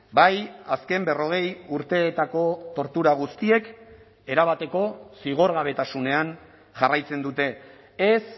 bai azken berrogei urteetako tortura guztiek erabateko zigorgabetasunean jarraitzen dute ez